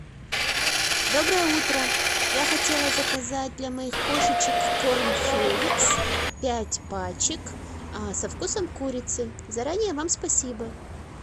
доброе утро я хотела заказать для моих кошечек корм феликс пять пачек со вкусом курицы заранее вам спасибо